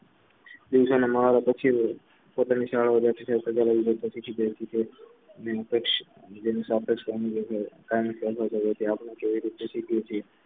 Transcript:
બિન કક્ષ બીજાની સાપક્ષતા કેવી રીતે